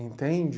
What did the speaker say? Entende?